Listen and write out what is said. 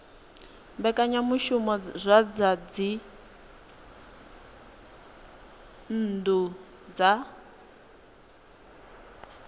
mbekanyamushumo dza zwa dzinnu dza